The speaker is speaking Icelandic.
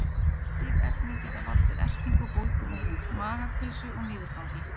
Slík efni geta valdið ertingu og bólgum á húð, magakveisu og niðurgangi.